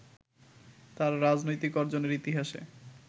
তার রাজনৈতিক অর্জনের ইতিহাসে